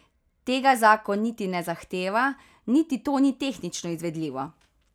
Tega zakon niti ne zahteva niti to ni tehnično izvedljivo.